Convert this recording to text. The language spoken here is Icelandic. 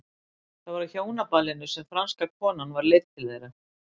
Það var á hjónaballinu sem franska konan var leidd til þeirra.